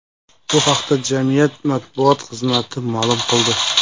Bu haqda jamiyat matbuot xizmati ma’lum qildi .